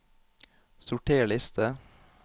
Sorter liste